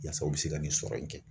N'a sɔrɔ u be se ka ne sɔrɔ yen kɛ.